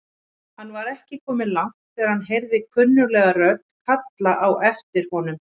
Hann var ekki kominn langt þegar hann heyrði kunnuglega rödd kalla á aftir honum.